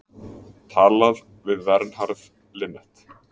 Talað við Vernharð Linnet.